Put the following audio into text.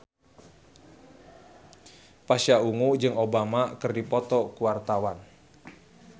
Pasha Ungu jeung Obama keur dipoto ku wartawan